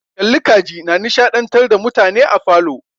Kalli ka ji na nishadantar da mutane a falo.